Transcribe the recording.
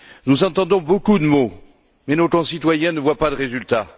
Nous entendons beaucoup de mots, mais nos concitoyens ne voient pas de résultats.